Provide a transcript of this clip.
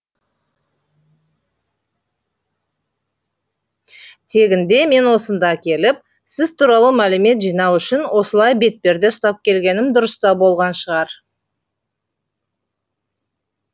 тегінде мен осында келіп сіз туралы мәлімет жинау үшін осылай бетперде ұстап келгенім дұрыс та болған шығар